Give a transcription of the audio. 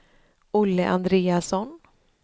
Olle Andreasson